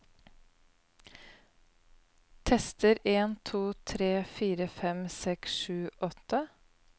Tester en to tre fire fem seks sju åtte